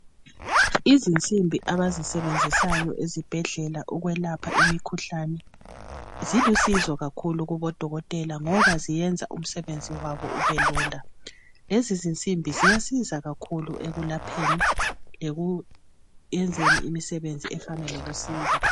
Izinsimbi abazisebenzisayo ezibhedlela ukwelapha imikhuhlane zilusizo kakhulu kubodokotela ngoba ziyenza umsebenzi wabo ubelula lezi zinsimbi ziyasiza kakhulu ekulapheni lokuyenzeni imisebenzi efana lokusikwa.